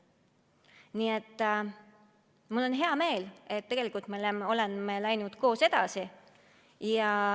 Nii et mul on hea meel, et tegelikult me oleme läinud koos edasi.